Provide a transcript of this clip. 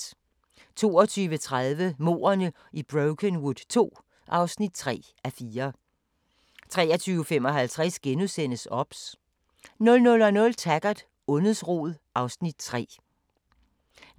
22:30: Mordene i Brokenwood II (3:4) 23:55: OBS * 00:00: Taggart: Ondets rod (Afs. 3)